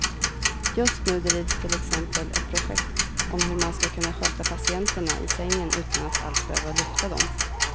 Just nu drivs till exempel ett projekt om hur man ska kunna sköta patienterna i sängen utan att alls behöva lyfta dem.